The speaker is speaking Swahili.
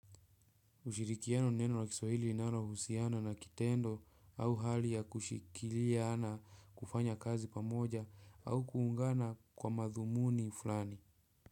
Ushirikiano ni neno na kiswahili linalo husiana na kitendo au hali ya kushikilia na kufanya kazi pamoja au kuungana kwa madhumuni fulani.